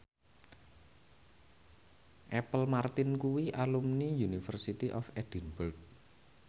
Apple Martin kuwi alumni University of Edinburgh